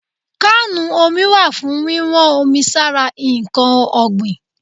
Kánù omi wà fún wíwọ́n omi sára ǹkan ọ̀gbìn.